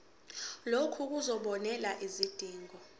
lokhu kuzobonelela izidingo